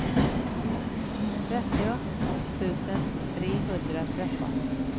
trettio tusen trehundratretton